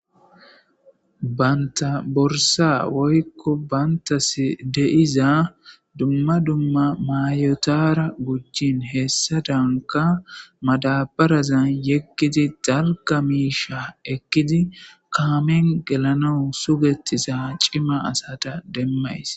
banta borsa woykko bantas de'iza dumma dumma mayotara gujicin hessadanka madabarazan yegidi dags miisha ekkidi kaamen gelana sugettiza cima asata demmays